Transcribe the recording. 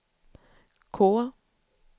K